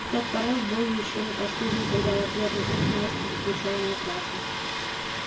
и тот порыв был ещё не последним когда в ответ на крик насти закричал митраша